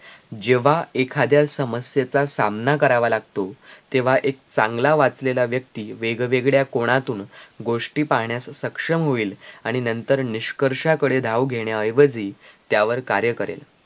जेव्हा एखाद्या समस्येचा सामना करावा लागतो तेव्हा एक चांगला वाचलेला व्यक्ती वेगवेगळ्या कोनातून गोष्टी पाहण्यास सक्षम होईल आणि नंतर निष्कर्षाकडे धाव घेण्या ऐवजी त्यावर कार्य करेल